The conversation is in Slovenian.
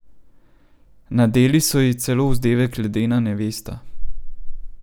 Nadeli so ji celo vzdevek ledena nevesta.